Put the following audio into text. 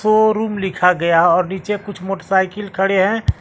Showroom लिखा गया और नीचे कुछ मोटसाइकिल खड़े हैं।